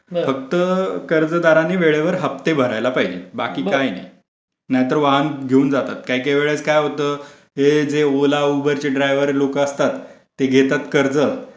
फक्त कर्जदारांनी वेळेवर हप्ते भरायला पाहिजे बाकी काय नाही. नाहीतर वाहन घेऊन जातात काही काही वेळेस काय होतं ते जे ओला ड्रायव्हर लोक असतात ते घेतात कर्ज